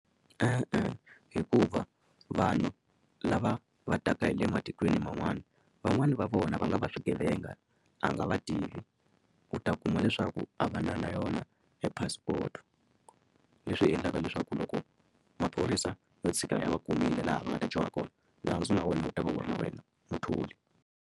E-e hikuva vanhu lava va taka hi le matikweni man'wani van'wani va vona va nga va swigevenga a nga va tivi u ta kuma leswaku a va na na yona e passport leswi endlaka leswaku loko maphorisa yo tshika ya va kumile laha va nga ta dyoha kona .